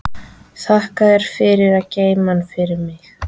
Og þakka þér fyrir að geyma hann fyrir mig.